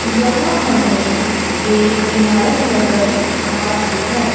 यहां हमें एक इमारत नजर आ रही है।